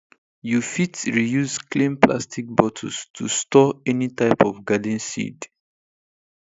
you fit reuse clean plastic bottles to store any type of garden seed